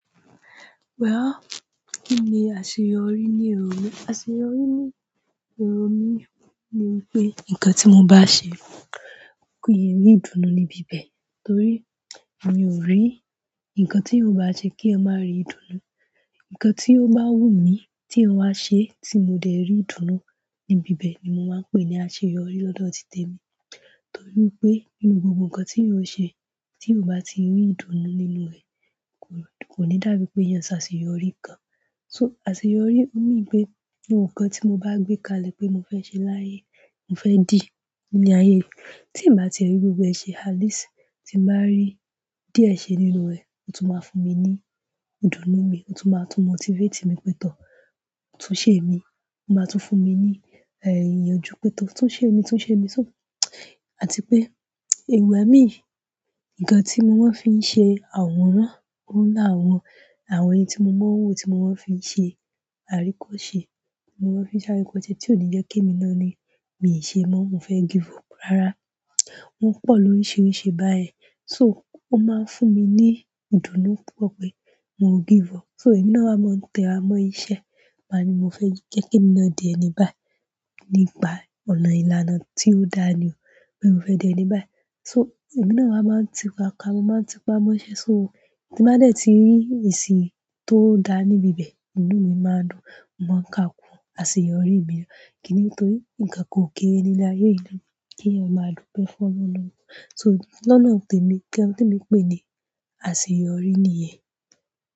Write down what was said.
Well ki ni aṣe yọrí ni ero mi? Àṣe yọ ri ni èrò mi ni pe nkan ti mó bá ṣè kín rí ìdùnnú ní bíbẹ torí mi ò rí ǹkan tí eyan o bá se kí èyàn má rí ìdùnnú. Ǹkan tí ó bá wù mí tí eyan wá ṣe tí mo dẹ̀ rí ìdùnnú níbi bẹ̀ ni mo máa ń pè ní àṣeyọrí lọ́dọ̀ tìtémi. Torí pé nínú gbogbo ǹkan tí eyan ṣe tí ó bá ti rí ìdùnnú nínú rẹ̀ kò ní dàbí pé eyàn ṣàṣeyọrí kan. So àṣeyọrí wù mí pé ohun kan tí mo bá gbé kalẹ̀ pé mo fẹ́ ṣe láyé, mo fẹ́ dì ní ayé yìí tí ì bá ti rí gbogbo ẹṣẹ áílìsì tí mo bá rí díẹ̀ ṣe nínú rẹ̀, ó tún máa fún mi ní ìdùnnú mi. Ó tún máa tún motivate mi pe tọ́ tún ṣe imi. Ó máa tún fún mi ní èyínọjú pe tọ́ tún ṣe imi, tún ṣe imi, tún-- àti pé ìgbà mi, ǹkan tí mo máa ń fi ṣe àwòrán, ó lá àwọn àwọn ẹni tí mo mọ̀ ọ́n wò tí mo máa ń fi ṣe àríkọ ṣe, mo ń fi se aríkọ̀se tí ò ní jẹ́ kí èmi náà ni mi ò ṣe mọ́, mo fẹ́ give up. Rárá, wọ́n pọ̀ lóríṣiríṣi báyìí. So ó máa ń fún mi ní ìdunú púpọ̀ pé mo ò give up. So èmi náà máa ń tẹ̀ ẹ́ mọ́ iṣẹ́, máa ní mo fẹ́ jẹ́ kí mi náà di ẹni báyìí nípa ọ̀nà ìlànà tí ó dáa ni. Pé mo fẹ́ dí ẹni báyìí. So èmi náà wa máa ń ti pa'kọ, mo máa ń ti pa mọ́ iṣẹ́. So tí màá dẹ̀ ti rí ìsì tó dáa níbi bẹ̀, ìnù mi máa dùn, màá ká kún àṣeyọrí mi. Kì nítorí ǹkankan ò kéré nínú áyé yìí lọ kí eyan máa dúpẹ́ fún Ọlọ́run. So lọ́nà tẹ̀mi, nkan t'emi ń pè ní àṣeyọrí nìyẹn.